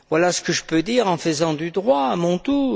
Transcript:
Voilà ce que je peux dire en faisant du droit, à mon tour.